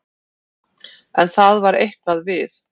En það var eitthvað við